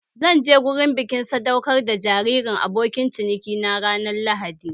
Zan je gurin bikin sadaukar jaririn abokin ciniki na ranar lahadi